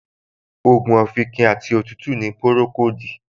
Ògùn òfìnkìn àti òtútù ni Pùròkóòdù